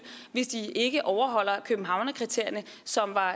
hvis de ikke overholder københavnerkriterierne som var